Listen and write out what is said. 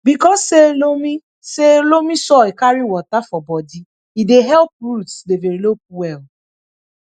because say loamy say loamy soil carry water for bodi e dey help roots develop well